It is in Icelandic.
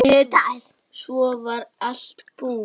Svo var allt búið.